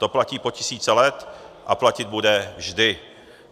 To platí po tisíce let a platit bude vždy.